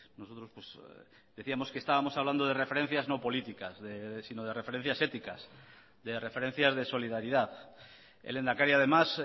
nosotros decíamos que estábamos hablando de referencias no políticas sino de referencias éticas de referencias de solidaridad el lehendakari además